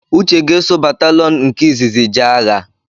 Uche ga-eso batalọn nke izizi jee agha